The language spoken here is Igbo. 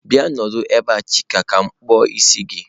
Bia nọdụ ebe a! chike ka m kpuo isi gi.